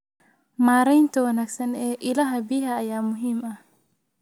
Maareynta wanaagsan ee ilaha biyaha ayaa muhiim ah.